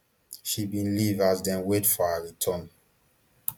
she bin leave as dem wait for her return